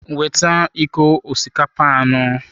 Weta iko osikapa anọ.